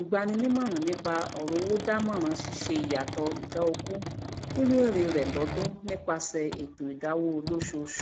olùgbaninímọràn nípa ọrọ owó dámọran síṣe ìyàsọtọ ìdá ogún nínú ère re lọdún nípaṣẹ ètò ìdáwó olósoṣù